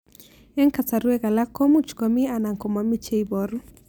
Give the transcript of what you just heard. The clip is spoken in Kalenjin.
Eng' kasarwek alak ko much ko mii anan ko mii che ibaru